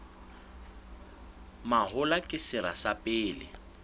mahola ke sera sa pele